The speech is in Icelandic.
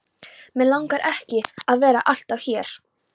Mig langar ekki að vera alltaf hér.